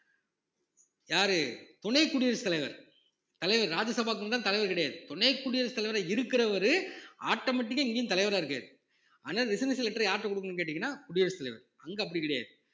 யாரு துணை குடியரசுத் தலைவர் தலைவர் ராஜ்யசபாவுக்கும்தான் தலைவர் கிடையாது துணை குடியரசுத் தலைவரா இருக்கிறவரு automatic ஆ இங்கேயும் தலைவரா இருக்காரு ஆனா resignation letter யாருகிட்ட கொடுக்கணும்னு கேட்டீங்கன்னா குடியரசு தலைவர் அங்க அப்படி கிடையாது